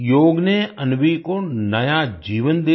योग ने अन्वी को नया जीवन दे दिया